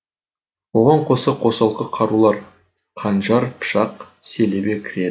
оған қоса қосалқы қарулар қанжар пышақ селебе кіреді